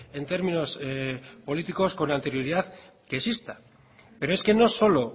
en términos políticos con anterioridad que exista pero es que no solo